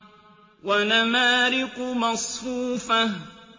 وَنَمَارِقُ مَصْفُوفَةٌ